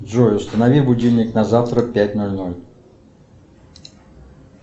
джой установи будильник на завтра пять ноль ноль